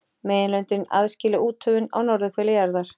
Meginlöndin aðskilja úthöfin á norðurhveli jarðar.